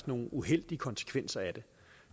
nogle uheldige konsekvenser af det